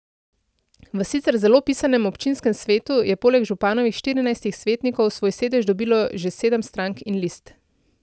V sicer zelo pisanem občinskem svetu je poleg županovih štirinajstih svetnikov svoj sedež dobilo še sedem strank in list.